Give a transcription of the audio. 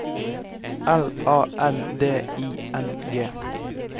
L A N D I N G